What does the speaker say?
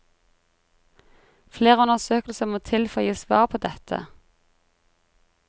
Flere undersøkelser må til for å gi svar på dette.